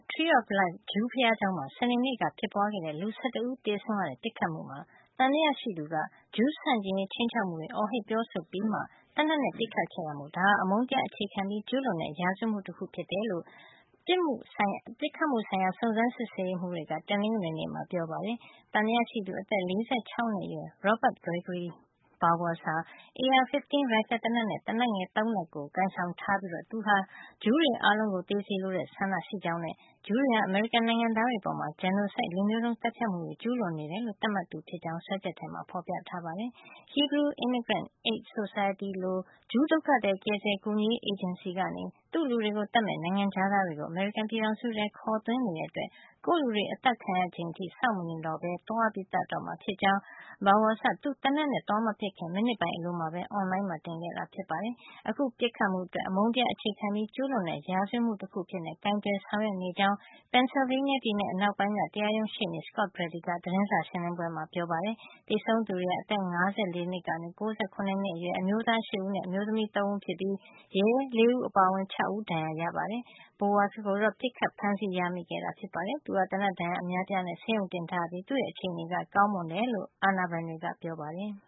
Tree of Life ဂျူးဘုရားကျောင်းမှာ စနေနေ့က ဖြစ်ပွါးခဲ့တဲ့ လူ ၁၁ ဦးသေဆုံးခဲ့ရတဲ့ ပစ်ခတ်မှုမှာ သံသယရှိသူက ဂျူးဆန့်ကျင်ရေး ခြိမ်းခြောက်မှုတွေ အော်ဟစ် ပြောဆိုပြီးမှ သေနတ်နဲ့ ပစ်ခတ်ခဲ့တာမို့ ဒါဟာ အမုန်းတရားအခြေခံပြီး ကျူးလွန်တဲ့ ရာဇဝတ်မှုတခု ဖြစ်တယ်လို့ ပစ်ခတ်မှုဆိုင်ရာ စုံစမ်းစစ်ဆေးရေးမှုးတွေက တနင်္ဂနွေနေ့မှာ ပြောပါတယ်။ သံသယရှိသူ အသက် ၄၆ နှစ်အရွယ် Robert Gregory Bowers ဟာ AR-15 ရိုင်ဖယ်သေနတ်နဲ့ သေနတ်ငယ် ၃ လက်ကို ကိုင်ဆောင်ထားပြီး သူဟာ ဂျူးတွေ အားလုံးကို သေစေလိုတဲ့ ဆန္ဒရှိကြောင်းနဲ့ ဂျူးတွေဟာ အမေရိကန်နိုင်ငံသားတွေအပေါ် genocide လူမျိုးတုံးသတ်ဖြတ်မှုတွေ ကျူးလွန်နေတယ်လို့ သတ်မှတ်သူဖြစ်ကြောင်း စွဲချက်ထဲမှာ ဖေါ်ပြထားပါတယ်။ Hebrew Immigrant Aid Society လို ဂျူး ဒုက္ခသည် ကယ်ဆယ်ကူညီရေး အေဂျင်စီကနေ သူ့လူတွေကို သတ်မယ့် နိုင်ငံခြားသားတွေကို အမေရိကန်ပြည်ထောင်စုထဲ ခေါ်သွင်း နေတဲ့အတွက် ကိုယ့်လူတွေ အသတ်ခံရချိန်အထိ စောင့်မနေတော့ပဲ သွားသတ်တော့မှာ ဖြစ်ကြောင်း Bowers က သူသေနတ်နဲ့ သွားမပစ်ခတ်ခင် မိနစ်ပိုင်းအလိုမှာပဲ အွန်လိုင်းမှာ တင်ခဲ့တာ ဖြစ်ပါတယ်။ အခုပစ်ခတ်မှုအတွက် “အမုန်းတရားအခြေခံပြီး ကျူးလွန်တဲ့ရာဇဝတ်မှုတခု" အဖြစ်ကိုင်တွယ်ဆောင်ရွက်နေကြောင်း Pennsylvania ပြည်နယ် တရားရုံး ရှေ့နေ Scott Brady က သတင်းစာရှင်းလင်းပွဲမှာ ပြောပါတယ်။ သေဆုံးသူတွေဟာ အသက် ၅၄ နှစ်ကနေ ၉၇ နှစ်အတွင်း အမျိုးသား ၈ ဦးနဲ့ အမျိုးသမီး ၃ ဦး တို့ဖြစ်ပြီး ရဲအရာရှိ ၄ ဦးအပါအဝင် ၆ ဦး ဒဏ်ရာရခဲ့ပါတယ်။ Bowers ကိုတော့ ပစ်ခတ်ဖမ်းဆီးရမိခဲ့ပါတယ်။ သူဟာ သေနတ်ဒဏ်ရာ အများအပြားနဲ့ ဆေးရုံတင်ထားရပြီး သူ့ရဲ့ အခြေအနေကတော့ ကောင်းမွန်တယ်လို့ အာဏာပိုင်တွေက ပြောပါတယ်။